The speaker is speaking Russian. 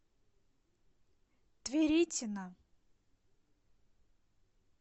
тверитина